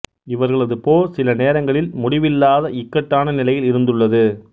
இவர்களது போர் சில நேரங்களில் முடிவில்லாத இக்கட்டான நிலையில் இருந்துள்ளது